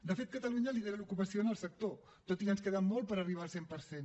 de fet catalunya lidera l’ocupació en el sector tot i que ens queda molt per arribar al cent per cent